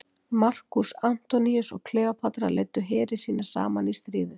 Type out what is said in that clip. Markús Antoníus og Kleópatra leiddu heri sína saman í stríðið.